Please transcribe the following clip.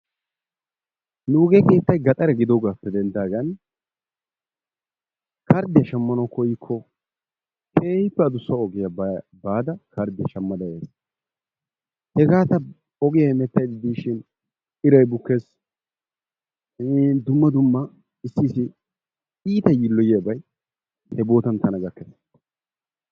Nugee keettay gaxare gidoogappe dendaagan karddiyaa shammanwu koyikko keehi adussa ogiyaa baada karddiyaa shaammada yays. Hegaa ta ogiyaa hemetays giishin iray bukkees. iin dumma dumma issi iita yiiloyiyaabay hegaa bootan tana gakkees.